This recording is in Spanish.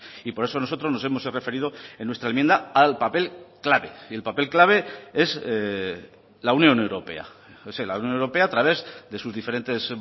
y por eso nosotros nos hemos referido en nuestra enmienda al papel clave y el papel clave es la unión europea es la unión europea a través de sus diferentes